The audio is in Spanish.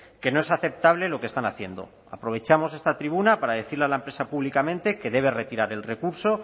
que no es aceptable lo que están haciendo aprovechamos esta tribuna para decirle a la empresa públicamente que debe retirar el recurso